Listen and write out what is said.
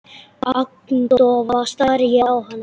Agndofa stari ég á hana.